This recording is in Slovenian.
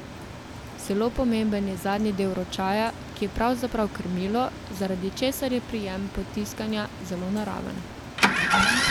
Zelo pomemben je zadnji del ročaja, ki je pravzaprav krmilo, zaradi česar je prijem potiskanja zelo naraven.